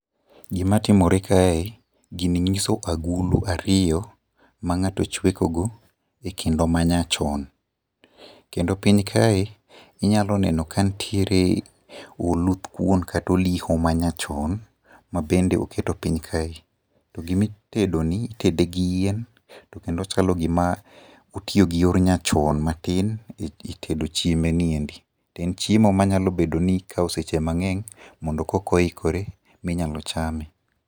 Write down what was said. Gima timore kae, gini nyiso agulu ariyo ma ngato chweko go e kendo manyachon. Kendo piny kae inyalo nono ka nitiere oluth kuon kata oliho manyachon mabende oketo piny kae. To gima itedo ni itedo gi yien to kendo ochalo gima otiyo gi yor nyachon matin e tedo chiembeni endi. To en chiemo manyalo bedo ni kao seche mangeny mondo koka oikore minyalo chame